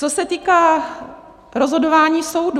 Co se týká rozhodování soudů.